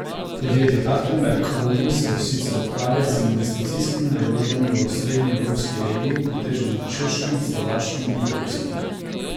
Podjetje Hartenberg Holding se sicer ukvarja z investicijskimi naložbami v osrednji evropski regiji, pretežno na Češkem, Slovaškem in Poljskem.